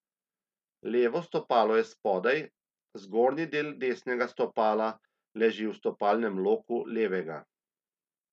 Levo stopalo je spodaj, zgornji del desnega stopala leži v stopalnem loku levega.